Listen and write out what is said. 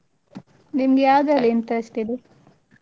ನಿಮ್ಗೆ ಯಾವ್ದ್ರಲ್ಲಿ interest ಇದೆ?